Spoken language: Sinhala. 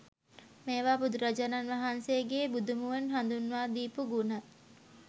මේවා බුදුරජාණන් වහන්සේගේ බුදු මුවින් හඳුන්වා දීපු ගුණ.